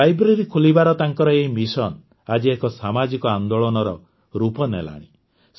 ଖସଭକ୍ସବକ୍ସଚ୍ଚ ଖୋଲିବାର ତାଙ୍କର ଏହି ମିଶନ ଆଜି ଏକ ସାମାଜିକ ଆନ୍ଦୋଳନର ରୂପ ନେଲାଣି